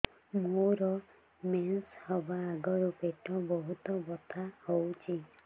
ମୋର ମେନ୍ସେସ ହବା ଆଗରୁ ପେଟ ବହୁତ ବଥା ହଉଚି